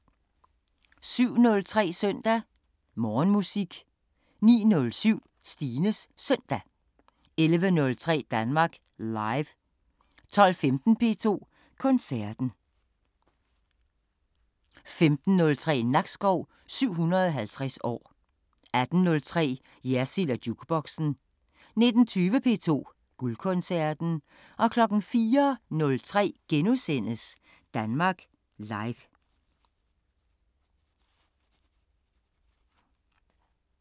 07:03: Søndag Morgenmusik 09:07: Stines Søndag 11:03: Danmark Live 12:15: P2 Koncerten 15:03: Nakskov 750 år 18:03: Jersild & Jukeboxen 19:20: P2 Guldkoncerten 04:03: Danmark Live *